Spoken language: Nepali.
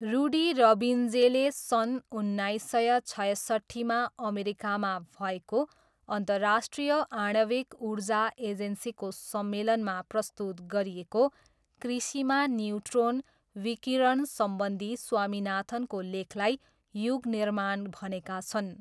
रुडी रब्बिन्जेले सन उन्नाइस सय छयसट्ठीमा अमेरिकामा भएको अन्तर्राष्ट्रिय आणविक ऊर्जा एजेन्सीको सम्मेलनमा प्रस्तुत गरिएको कृषिमा न्युट्रोन विकिरणसम्बन्धी स्वामीनाथनको लेखलाई युगनिर्माण भनेका छन्।